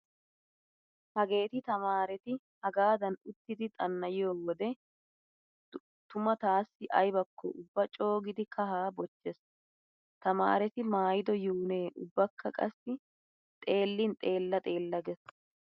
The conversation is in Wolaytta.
Hageeti tamaareti hagaadan uttidi xanna"iyo wode tuma taassi aybakko ubba coogidi kahaa bochchees. Tamaareti maayido yuune ubbakka qassi xeellin xeella xeella gees.